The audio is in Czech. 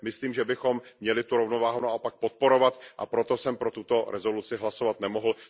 Myslím, že bychom měli tu rovnováhu naopak podporovat, a proto jsem pro tuto rezoluci hlasovat nemohl.